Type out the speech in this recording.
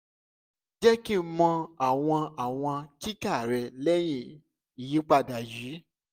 jẹ ki n mọ awọn awọn kika rẹ lẹhin iyipada yii